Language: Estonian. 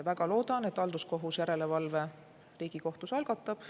Väga loodan, et halduskohus järelevalve Riigikohtus algatab.